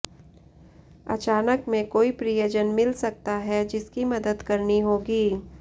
अचानक में कोई प्रियजन मिल सकता है जिसकी मदद करनी होगी